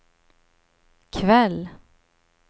kväll